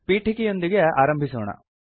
ಪೀಠಿಕೆಯೊಂದಿಗೆ ಆರಂಭಿಸೋಣ